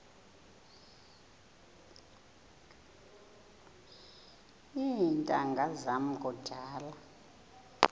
iintanga zam kudala